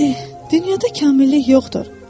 Dünyada kamillik yoxdur.